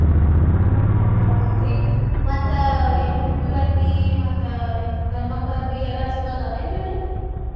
ಹ ಹೋಗ್ ಬರ್ತೇನ್ ರ್ರೀ ಮತ್ತ್ ಎನ್ ಹುಡ್ಗುರ್ ಅರ್ಬಿ ಮತ್ತ ಈ ಗಂಡ್ಮಕ್ಳ್ ಅರ್ಬಿ ಎಲ್ಲಾ ಚೊಲೋ ಅದಾವ್ ಏನ್ರೀ ಅಲ್ಲೇ?